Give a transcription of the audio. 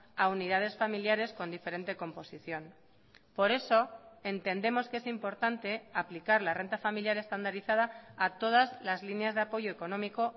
a unidades familiares con diferente composición por eso entendemos que es importante aplicar la renta familiar estandarizada a todas las líneas de apoyo económico